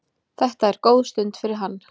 Þetta er góð stund fyrir hann.